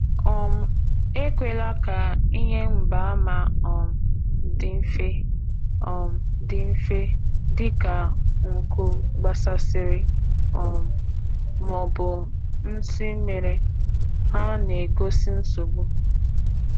Ekwesịghị ileghara ihe ngosi dị ka ntutu gbagọ maọbụ mkpụrụ mmiri anya—ha bụ akara nsogbu.